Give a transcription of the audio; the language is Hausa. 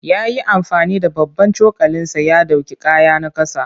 Ya yi amfani da babban cokalinsa ya ɗauki kayana ƙasa.